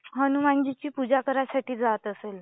हनुमानजीची पूजा करण्यासाठी जात असेल